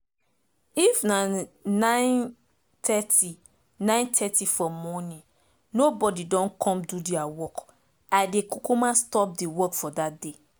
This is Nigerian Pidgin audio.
if by nine thirty nine thirty for morning nobody don come do deir work i dey kukuma stop de work for dat day